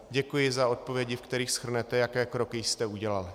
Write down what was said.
Děkuji za odpovědi, ve kterých shrnete, jaké kroky jste udělal.